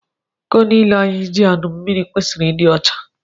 Iko niile anyị ji añụ mmiri kwesịrị ịdị ọcha.